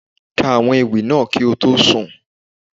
Ka àwọn ewì náà kí o tó sùn.